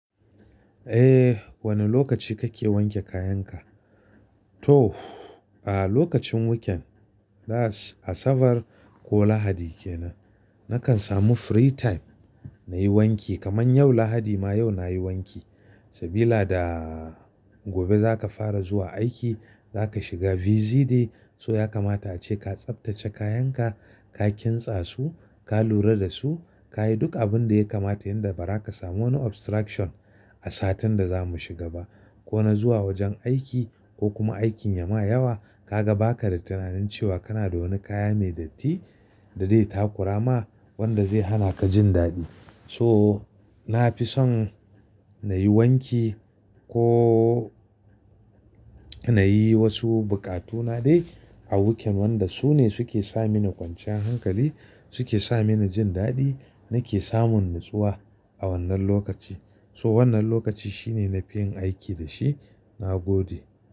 Eh, wane lokaci kake wanke kayanka? To, a lokacin weekend, Asabar ko Lahadi kenan. Nakan samu free time nayi wanki, kamar yau Lahadi ma yau nayi wanki. Sabila da gobe zaka fara zuwa aiki, zaka shiga busy day. So yakamata ace ka tsaftace kayanka, ka kintsa su, ka lura da su, ka yi duk abin da ya kamata yanda bara ka samu wani obstruction a satin da zamu shiga ba. Ko na zuwa wajen aiki ko kuma aikin ya ma yawa, ka ga baka da tunanin cewa kana da wani kaya mai datti da dai ta kurama wanda zai hana ka jin daɗi. So, na fi son nayi wanki ko nayi wasu buƙatuna dai a weekend wanda su ne suke sa mini kwanciyar hankali, suke sa mini jin daɗi, nake samun natsuwa a wannan lokaci. So wannan lokaci shine na fi yin aiki da shi, na gode.